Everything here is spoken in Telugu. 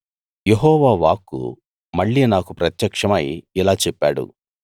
యెహోవా వాక్కు మళ్ళీ నాకు ప్రత్యక్షమై ఇలా చెప్పాడు